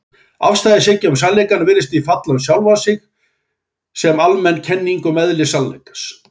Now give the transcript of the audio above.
Afstæðishyggja um sannleikann virðist því falla um sjálfa sig sem almenn kenning um eðli sannleikans.